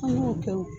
An y'o kɛ o